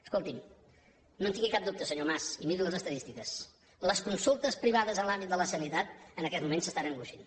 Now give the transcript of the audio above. escolti’m no en tingui cap dubte senyor mas i miri les estadístiques les consultes privades en l’àmbit de la sanitat en aquests moments s’estan engruixint